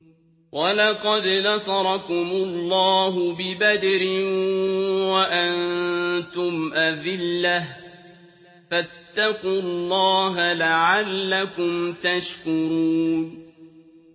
وَلَقَدْ نَصَرَكُمُ اللَّهُ بِبَدْرٍ وَأَنتُمْ أَذِلَّةٌ ۖ فَاتَّقُوا اللَّهَ لَعَلَّكُمْ تَشْكُرُونَ